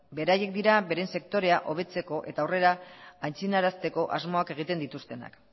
beraiek dira euren sektoreak hobetzeko eta horrela aitzindarazteko asmoak egiten dituztenak